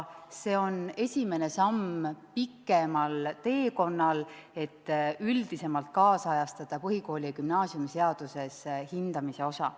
See on esimene samm pikemal teekonnal, et üldisemalt nüüdisajastada põhikooli- ja gümnaasiumiseaduses hindamise osa.